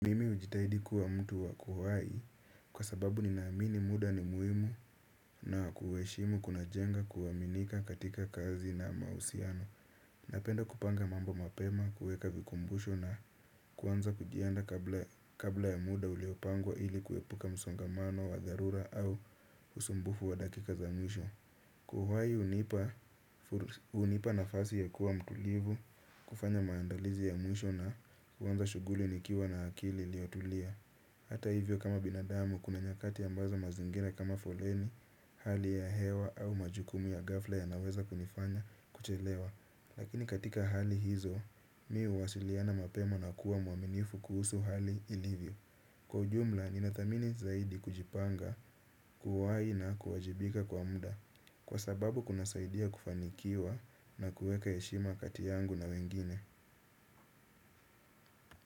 Hujitahidi kuwa mtu ako uhai kwa sababu nina amini muda ni muhimu na kuheshimu kuna jenga kuaminika katika kazi na mahusiano. Napenda kupanga mambo mapema, kuweka vikumbusho na kwanza kujianda kabla ya muda uliopangwa ili kuepuka msongamano wa dharura au usumbufu wa dakika za mwisho. Kuwa uhai hunipa nafasi ya kuwa mtulivu, kufanya maandalizi ya mwisho na kuanza shughuli nikiwa na akili ilio tulia. Hata hivyo kama binadamu kuna nyakati ambazo mazingira kama foleni, hali ya hewa au majukumu ya gafla yanaweza kunifanya kuchelewa. Lakini katika hali hizo, mimi huwasiliana mapema na kuwa mwaminifu kuhusu hali ilivyo. Kwa ujumla, ninadhamini zaidi kujipanga, kuwa uhai na kuwajibika kwa muda. Kwa sababu kuna saidia kufanikiwa na kuweka heshima kati yangu na wengine.